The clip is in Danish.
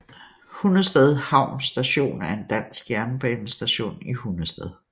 Hundested Havn Station er en dansk jernbanestation i Hundested